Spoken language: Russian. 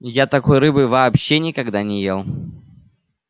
я такой рыбы вообще никогда не ел